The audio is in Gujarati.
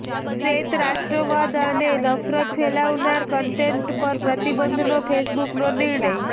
શ્વેત રાષ્ટ્રવાદ અને નફરત ફેલાવનારા કન્ટેન્ટ પર પ્રતિબંધનો ફેસબુકનો નિર્ણય